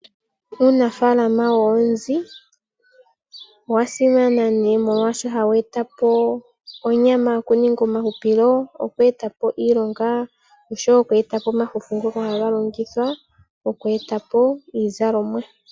Uunafaalama woonzi owa simana noonkondo, oshoka ohawu eta po onyama okuninga omahupilo, oku eta po iilonga, oshowo okugandja omafufu ngoka haga longithwa oku eta po iizalomwa.